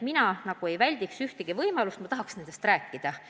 Mina ei väldiks ühtegi aruteluvõimalust, ma tahaks nendest asjadest rääkida.